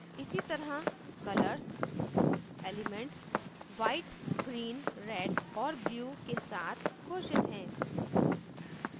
इसी तरह colors elements white green red और blue के साथ घोषित है